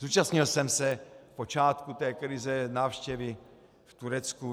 Zúčastnil jsem se v počátku té krize návštěvy v Turecku.